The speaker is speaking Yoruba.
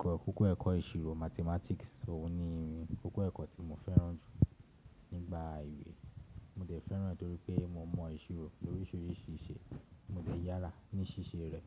Kókó ẹ̀kọ́ ìṣirò Mathematics, òun ni kókó ẹ̀kọ́ tí mo fẹ́ràn jù nígbà ìwé. Mo dẹ̀ fẹ́ràn e torí pé mo mọ̀ ìṣirò oríṣiríṣi ìṣe, mo dẹ̀ yára ní ṣíṣe rẹ̀.